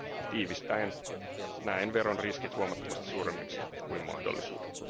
Tiivistäen näen veron riskit huomattavasti suuremmiksi kuin mahdollisuudet.